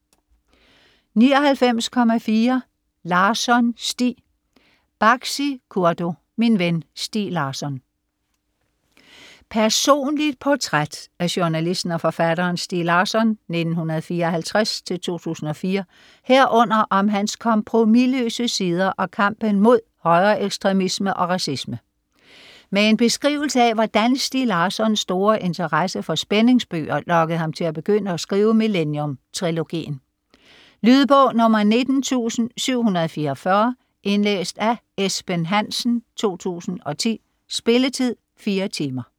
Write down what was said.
99.4 Larsson, Stieg Baksi, Kurdo: Min ven Stieg Larsson Personligt portræt af journalisten og forfatteren Stieg Larsson (1954-2004) herunder om hans kompromisløse sider og kampen mod højreekstremisme og racisme. Med en beskrivelse af hvordan Stieg Larssons store interesse for spændingsbøger lokkede ham til at begynde at skrive Millennium-trilogien. Lydbog 19744 Indlæst af Esben Hansen, 2010. Spilletid: 4 timer, 0 minutter.